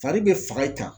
Fari be faga i kan